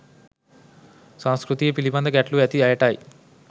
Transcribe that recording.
සංස්කෘතිය පිළිබඳ ගැටලු ඇති අයටයි